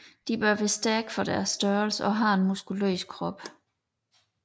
De bør være stærke for deres størrelse og have en muskuløs krop